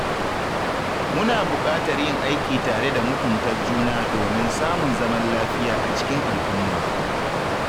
Muna buƙatar yin aiki tare da mutumta juna domin samun zaman lafiya a cikin al'umma